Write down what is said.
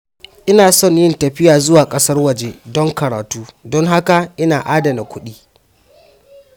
Ina son yin tafiya zuwa ƙasar waje don karatu, don haka ina adana kuɗi.